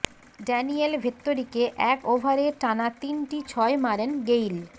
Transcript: Daniel ভেত্তোরিকে এক ওভারে টানা তিনটি ছয় মারেন গেইল